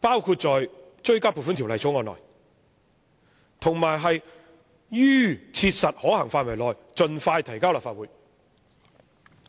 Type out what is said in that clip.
包括在追加撥款條例草案內，以及"於切實可行範圍內盡快提交立法會"。